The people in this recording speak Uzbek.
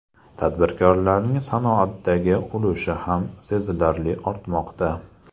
Tadbirkorlarning sanoatdagi ulushi ham sezilarli ortmoqda.